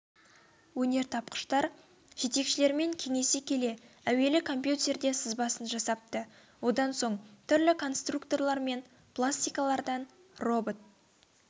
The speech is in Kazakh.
өнертапқыштар жетекшілерімен кеңесе келе әуелі компютерде сызбасын жасапты одан соң түрлі конструкторлар мен пластикалардан робот